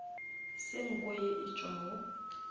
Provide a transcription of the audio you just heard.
se nko ye e tšwago